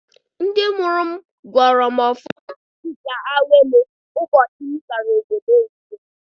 Ndị mụrụ m gọrọ m ọfọ ije awele ụbọchị m gara obodo oyibo.